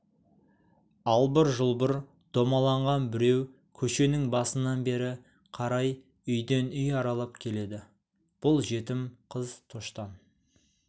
албыр-жұлбыр домаланған біреу көшенің басынан бері қарай үйден үй аралап келеді бұл жетім қыз тоштан